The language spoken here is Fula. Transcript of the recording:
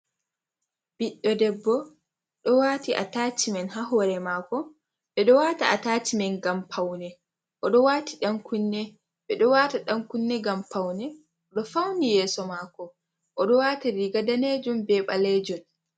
Biɗɗo ɗebbo ɗo wati a ltacimen ha hore mako. Beɗo wata atacimen ngam paune. Oɗo wati dan kunne. Beɗo wata dan kunne ngam paune. Oɗo fauni yeso mako. Oɗo wati riga nɗanejum be balejum.